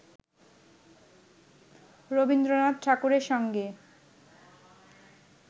রবীন্দ্রনাথ ঠাকুরের সঙ্গে